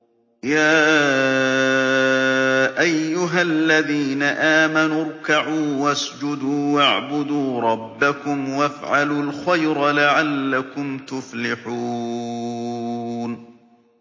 يَا أَيُّهَا الَّذِينَ آمَنُوا ارْكَعُوا وَاسْجُدُوا وَاعْبُدُوا رَبَّكُمْ وَافْعَلُوا الْخَيْرَ لَعَلَّكُمْ تُفْلِحُونَ ۩